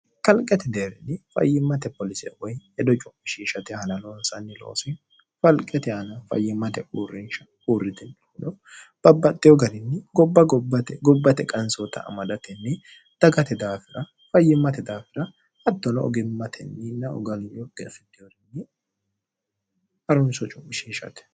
kalqeti deerini fayyimmate poolisee woy yedo cu'mishishate halalo insanni loosi falqete ana fayyimmate uurrinsha uurriti lohuno babbaxxe oganinni gobba gobbate qansoota amadatenni dagate daafira fayyimmate daafira hattono ogimmatenninnogaliyoge fitiorinni harunso cu'mishishte